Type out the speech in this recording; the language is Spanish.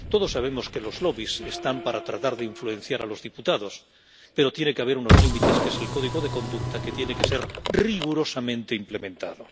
Todos sabemos que los lobbies están para tratar de influenciar a los diputados, pero tiene que haber unos límites, que es el código de conducta, que tiene que ser rigurosamente implementado.